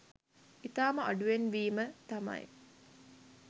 ඉතාම අඩුවෙන් වීම තමයි